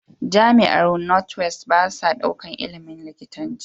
Jamiar north west basa ɗaukar ilimin likitanci